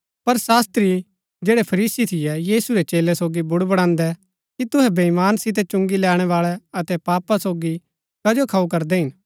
पर शास्त्री जैड़ै फरीसी थियै यीशु रै चेलै सोगी बुडबुड़ान्दै कि तुहै वेईमानी सितै चुंगी लैणैबाळै अतै पापी सोगी कजो खाऊ करदै हिन